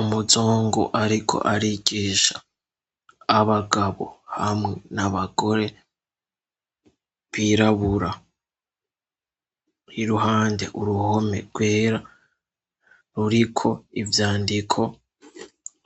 Umuzungu, ariko arigisha abagabo hamwe ni abagore birabura iruhande uruhome rwera ruriko ivyandiko